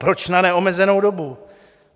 Proč na neomezenou dobu?